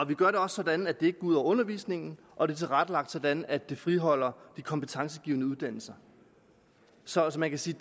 vi gør det også sådan at det ikke ud over undervisningen og det er tilrettelagt sådan at det friholder de kompetencegivende uddannelser så man kan sige